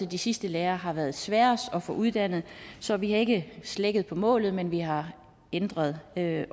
de sidste lærere har været sværeste at få uddannet som vi har ikke slækket på målet men vi har ændret ja